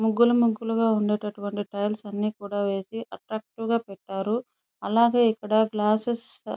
ముగ్గులు ముగ్గులు గా ఉండేటువంటి టైల్స్ అన్నీ కూడా వేసి అట్రాక్టీవ్ గా పెట్టారు. అలాగే ఇక్కడ గ్లాసెస్ --